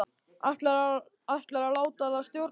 Ætlarðu að láta það stjórna lífinu?